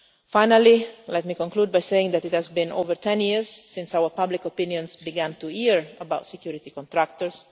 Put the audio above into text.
Finally, let me conclude by saying that it has been more than 10 years since public opinion began to hear about security contractors.